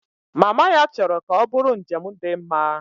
Mama ya chọrọ ka ọ bụrụ njem dị mma